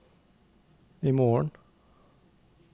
imorgen